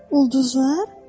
Ulduzlar?